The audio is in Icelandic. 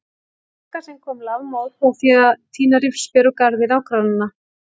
Magga sem kom lafmóð frá því að tína rifsber úr garði nágrannanna.